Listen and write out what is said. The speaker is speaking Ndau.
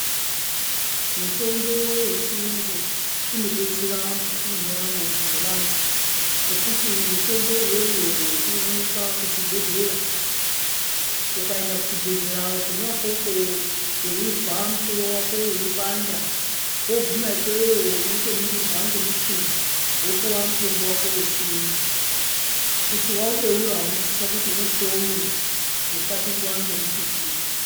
Mutombo wechiyungu unobetsere mukati mwendaramo dzevantu ngokuti mitombo iyoyo inowanikwa kuzvibhedhlera, ukaenda kuchibhedhlera kona ukoko weizwa musoro wako weipanda woguma ikweyo unotoningirwa ngomuchini wopuwa mutombo wako wechiyungu kuti waubeura unosisa kuti uukonye kuti usapindea ngemututu.